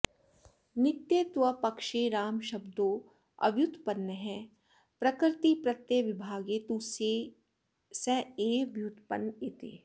नित्यत्वपक्षे रामशब्दोऽव्युत्पन्नः प्रकृतिप्रत्ययविभागे तु स एव व्युत्पन्न इति